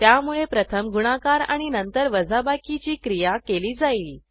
त्यामुळे प्रथम गुणाकार आणि नंतर वजाबाकीची क्रिया केली जाईल